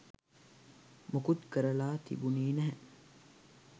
මොකුත් කරලා තිබුනේ නැහැ.